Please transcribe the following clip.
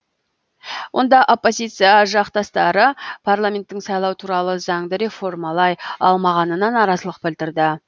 онда оппозиция жақтастары парламенттің сайлау туралы заңды реформалай алмағанына наразылық білдірді